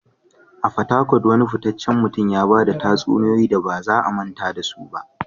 A fatakwal, wane fitaccen mutum ne ya ba da tatsuniyoyi da ba za a manta da su ba?